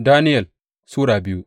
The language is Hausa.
Daniyel Sura biyu